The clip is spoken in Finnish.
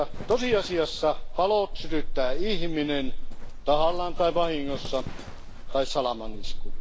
Tosiasiassa palot sytyttää ihminen tahallaan tai vahingossa tai salamanisku.